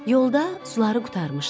Yolda suları qurtarmışdı.